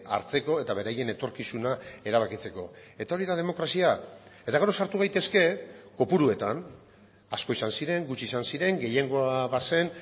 hartzeko eta beraien etorkizuna erabakitzeko eta hori da demokrazia eta gero sartu daitezke kopuruetan asko izan ziren gutxi izan ziren gehiengoa bazen